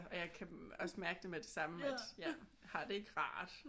Og jeg kan også mærke med det samme at jeg har det ikke rart